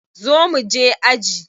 Zo mu je aji.